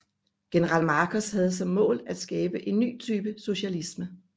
General Markos havde som mål at skabe en ny type socialisme